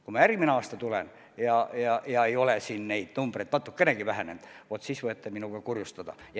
Kui ma järgmisel aastal tulen ja ei ole need numbrid natukenegi vähenenud, vaat siis võite minuga kurjustada.